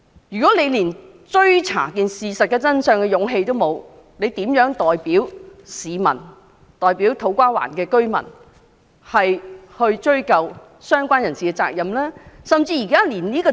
如果他們連追查事件真相的勇氣也沒有，又如何代表市民、土瓜灣的居民追究相關人士的責任呢？